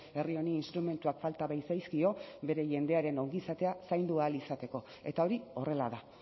herri honi instrumentuak falta baitzaizkio bere jendearen ongizatea zaindu ahal izateko eta hori horrela da